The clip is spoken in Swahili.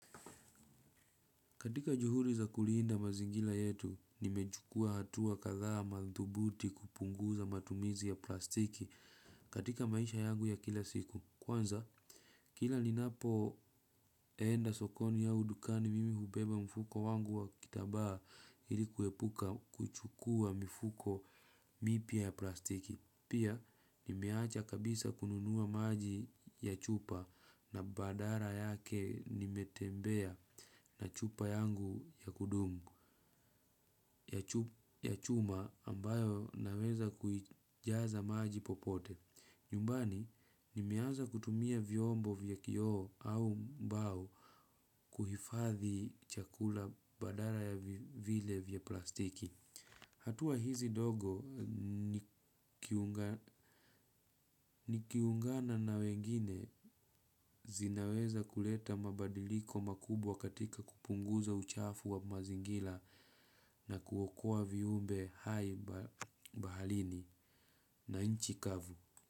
Katika juhuri za kuliinda mazingila yetu, nimejukua hatuwa kadhaa ya madhubuti kupunguza matumizi ya plastiki katika maisha yangu ya kila siku. Kwanza, kila ninapoenda sokoni au dukani mimi hubeba mfuko wangu wa kitabaa ili kuepuka kuchukua mfuko mipia ya plastiki. Pia, nimeacha kabisa kununua maji ya chupa na badara yake nimetembea na chupa yangu ya kudumu ya chuma ambayo naweza kujaza maji popote. Nyumbani, nimeanza kutumia vyombo vya kioo au mbao kuhifadhi chakula badara ya vile vya plastiki. Hatua hizi dogo nikiungana na wengine zinaweza kuleta mabadiliko makubwa katika kupunguza uchafu wa mazingila na kuokoa viumbe hai bahalini na inchi kavu.